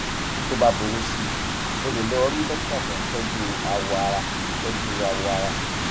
tó bá burú sí i o lè lọ rí dókítà tó ń tọjú awọ ara tọjú awọ ara